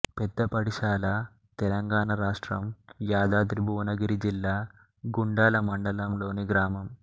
పెద్దపడిశాల తెలంగాణ రాష్ట్రంయాదాద్రి భువనగిరి జిల్లా గుండాల మండలంలోని గ్రామం